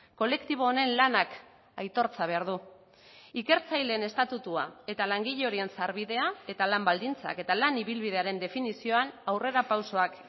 kolektibo honen lanak aitortza behar du ikertzaileen estatutua eta langile horien sarbidea eta lan baldintzak eta lan ibilbidearen definizioan aurrerapausoak